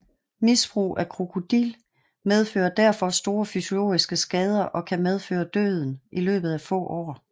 Misbrug af Krokodil medfører derfor store fysiologiske skader og kan medføre døden i løbet af få år